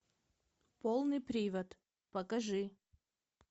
полный привод покажи